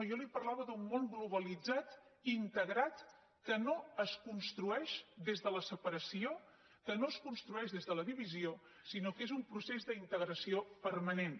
jo li parlava d’un món globalitzat i integrat que no es construeix des de la separació que no es construeix des de la divisió sinó que és un procés d’integració permanent